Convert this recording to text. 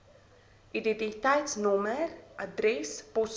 identiteitsnommer adres poskode